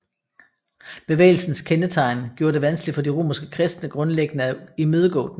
Bevægelsens kendetegn gjorde det vanskeligt for de romerske kristne grundlæggende at imødegå den